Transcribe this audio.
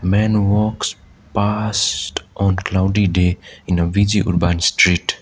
man walks past on cloudy day in a busy urban street.